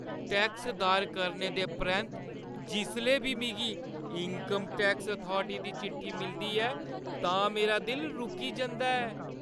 Tax दायर करने दे परैंत्त जिसलै बी मिगी इन्कम टैक्स अथॉरिटीज दी चिट्ठी मिलदी ऐ तां मेरा दिल रुकी जंदा ऐ।